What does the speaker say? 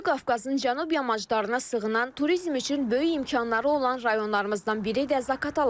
Böyük Qafqazın cənub yamaclarına sığınan, turizm üçün böyük imkanları olan rayonlarımızdan biri də Zaqataladır.